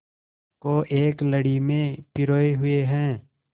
को एक लड़ी में पिरोए हुए हैं